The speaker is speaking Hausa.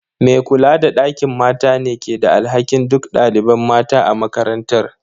Me kula da ɗakin mata ne ke da alhakin duk ɗaliban mata a makarantar.